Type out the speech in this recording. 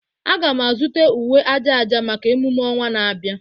Aga m azụta uwe aja aja maka emume ọnwa na-abịa